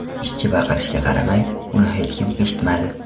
Ishchi baqirishiga qaramay, uni hech kim eshitmadi.